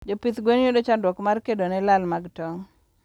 Jopidh gwen yudo chandruok mar kedone lal mag tong